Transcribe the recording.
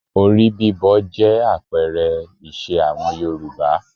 Orí bíbọ jẹ́ àpẹẹrẹ ìṣe àwọn Yorùbá